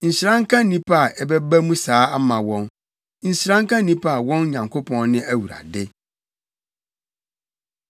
Nhyira nka nnipa a ɛbɛba mu saa ama wɔn. Nhyira nka nnipa a wɔn Nyankopɔn ne Awurade.